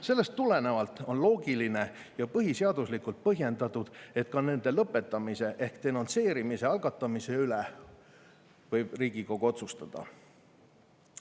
Sellest tulenevalt on loogiline ja põhiseaduslikult põhjendatud, et ka nende lõpetamise ehk denonsseerimise algatamise üle võib Riigikogu otsustada.